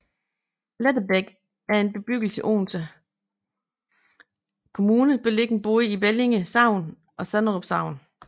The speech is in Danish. Lettebæk er en bebyggelse i Odense Kommune beliggende både i Bellinge Sogn og Sanderum Sogn